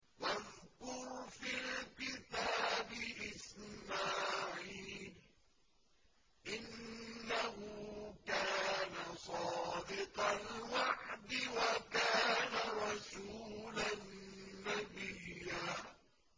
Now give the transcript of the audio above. وَاذْكُرْ فِي الْكِتَابِ إِسْمَاعِيلَ ۚ إِنَّهُ كَانَ صَادِقَ الْوَعْدِ وَكَانَ رَسُولًا نَّبِيًّا